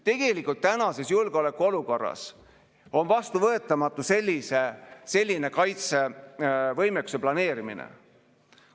Tegelikult tänases julgeolekuolukorras on vastuvõetamatu selline kaitsevõimekuse planeerimine.